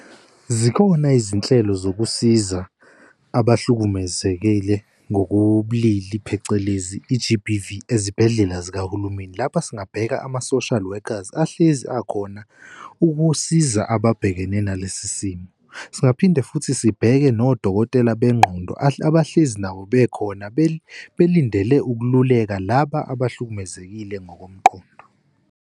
Zikhona izinhlelo zokusiza abahlukumezekile ngokobulili, phecelezi i-G_B_V ezibhedlela zikahulumeni. Lapha singabheka ama-social workers ahlezi akhona ukusiza ababhekene nalesi simo, singaphinde futhi sibheke nodokotela bengqondo abahlezi nabo bekhona belindele ukululekwa laba abahlukumezekile ngokomqondo.